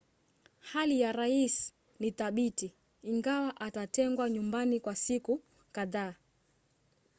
hali ya rais ni thabiti ingawa atatengwa nyumbani kwa siku kadhaa